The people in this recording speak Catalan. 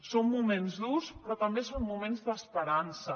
són moments durs però també són moments d’esperança